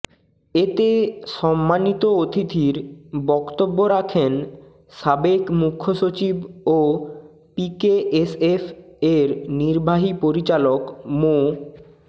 এতে সম্মানিত অতিথির বক্তব্য রাখেন সাবেক মূখ্য সচিব ও পিকেএসএফ এর নির্বাহী পরিচালক মো